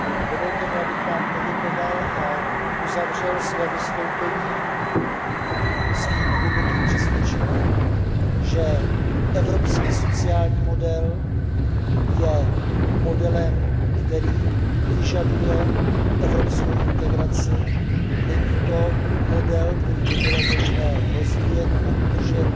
Dovolte mi, abych vám poděkoval a uzavřel své vystoupení svým hlubokým přesvědčením, že evropský sociální model je modelem, který vyžaduje evropskou integraci, není to model, který by bylo možné rozvíjet a udržet